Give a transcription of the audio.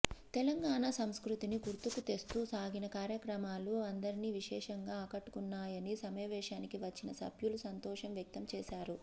తెలంగాణా సంస్కృతిని గుర్తుకు తెస్తూ సాగిన కార్యక్రమాలు అందరిని విశేషంగా ఆకట్టుకున్నాయని సమావేశానికి వచ్చిన సభ్యులు సంతోషం వ్యక్తం చేశారు